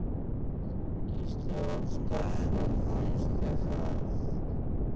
Gísli Óskarsson: Finnst þér það?